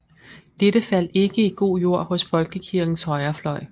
Dette faldt ikke i god jord hos Folkekirkens højrefløj